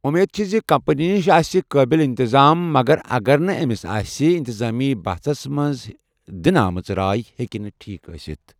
امید چھِ زِ کمپنی نِش آسہِ قٲبِل انتظام مگر اگر نہٕ أمِس آسہَِ، انتظامی بحژ حصس منٛز دِنہٕ آمٕژ رائے ہیٚکہِ نہٕ ٹھیٖک ٲسِتھ۔